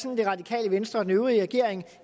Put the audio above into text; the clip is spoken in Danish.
at det radikale venstre og den øvrige regering